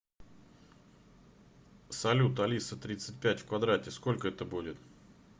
салют алиса тридцать пять в квадрате сколько это будет